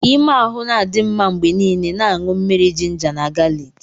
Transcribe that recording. Ka ime ahụ na-adị mma mgbe niile, na-aṅụ mmiri jinja na galiki.